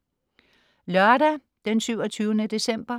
Lørdag 27. december